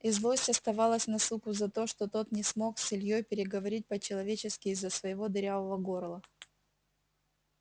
и злость оставалась на суку за то что тот не смог с ильёй переговорить по-человечески из-за своего дырявого горла